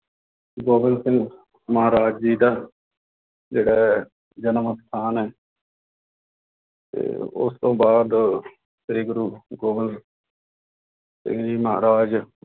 ਗੋਬਿੰਦ ਸਿੰਘ ਮਹਾਰਾਜ ਜੀ ਦਾ ਜਿਹੜਾ ਹੈ ਜਨਮ ਅਸਥਾਨ ਹੈ ਤੇ ਉਸ ਤੋਂ ਬਾਅਦ ਸ੍ਰੀ ਗੁਰੂ ਗੋਬਿੰਦ ਸਿੰਘ ਜੀ ਮਹਾਰਾਜ